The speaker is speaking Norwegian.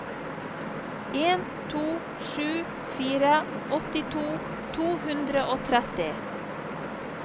en to sju fire åttito to hundre og tretti